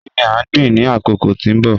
Kini a gbin ni akoko ti n bọ?